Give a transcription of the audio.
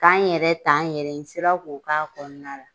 K'an yɛrɛ ta n yɛrɛ ye n sera ko k'a kɔnɔna la